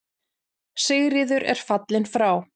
Sigríður er fallin frá.